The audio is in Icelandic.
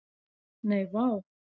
Nei, vá.